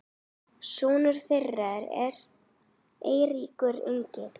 sonur þeirra er Eiríkur Ingi.